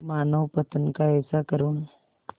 मानवपतन का ऐसा करुण